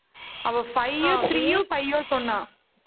அவ five உ three யோ, five யோ சொன்னா.